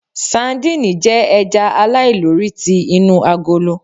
Sadíìnì jẹ́ ẹja aláìlórí ti inú agolo.